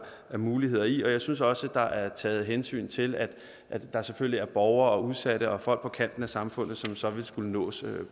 er muligheder i og jeg synes også der er taget hensyn til at der selvfølgelig er borgere socialt udsatte og folk på kanten af samfundet som så vil skulle nås